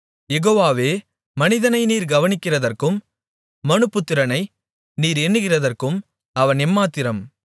யெகோவாவே மனிதனை நீர் கவனிக்கிறதற்கும் மனுபுத்திரனை நீர் எண்ணுகிறதற்கும் அவன் எம்மாத்திரம்